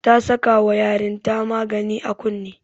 Ta saka wa yarin ta magani a kunne